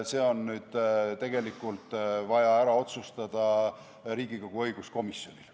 See on vaja ära otsustada Riigikogu õiguskomisjonil.